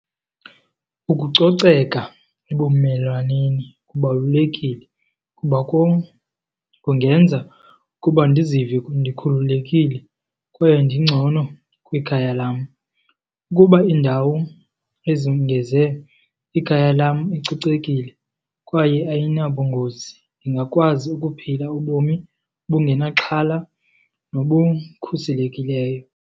Ukucoceka ebumelwaneni kubalulekile kuba kum kungenza ukuba ndizive ndikhululekile kwaye ndigcono kwikhaya lam. Ukuba indawo ikhaya lam licocekile kwaye ayinabungozi, ndingakwazi ukuphila ubomi obungenaxhala nobukhuselekileyo.